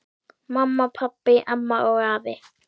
Mamma, pabbi, amma og afi.